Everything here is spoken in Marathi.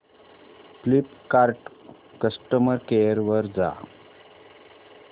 फ्लिपकार्ट कस्टमर केअर वर जा